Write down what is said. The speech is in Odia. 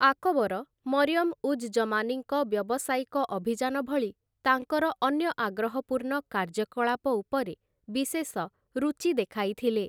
ଆକବର ମରିୟମ ଉଜ୍ ଜମାନୀଙ୍କ ବ୍ୟବସାୟିକ ଅଭିଯାନ ଭଳି ତାଙ୍କର ଅନ୍ୟ ଆଗ୍ରହପୁର୍ଣ୍ଣ କାର୍ଯ୍ୟକଳାପ ଉପରେ ବିଶେଷ ରୁଚି ଦେଖାଇଥିଲେ ।